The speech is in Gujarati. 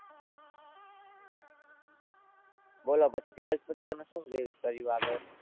બોલો પછી twelfth પછી તમે શું કર્યું આગળ?